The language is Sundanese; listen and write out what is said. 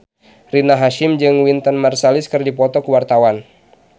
Rina Hasyim jeung Wynton Marsalis keur dipoto ku wartawan